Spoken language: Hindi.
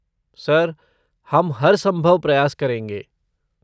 सर, हम हरसंभव प्रयास करेंगे।